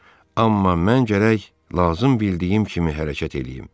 Amma mən gərək lazım bildiyim kimi hərəkət eləyim.